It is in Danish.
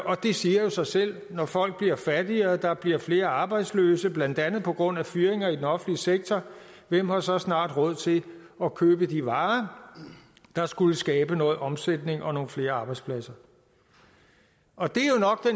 og det siger jo sig selv at når folk bliver fattigere og der bliver flere arbejdsløse blandt andet på grund af fyringer i den offentlige sektor hvem har så snart råd til at købe de varer der skulle skabe noget omsætning og nogle flere arbejdspladser og det